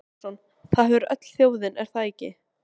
Jens Valdimarsson: Það hefur öll þjóðin, er það ekki?